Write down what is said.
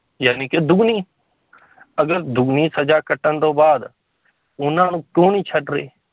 ਜਾਣੀ ਕਿ ਦੁੱਗਣੀ ਅਗਰ ਦੁੱਗਣੀ ਸਜ਼ਾ ਕੱਟਣ ਤੋਂ ਬਾਅਦ ਉਹਨਾਂ ਨੂੰ ਕਿਉਂ ਨੀ ਛੱਡ ਰਹੇ